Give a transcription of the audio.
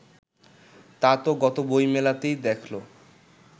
তা তো গত বইমেলাতেই দেখল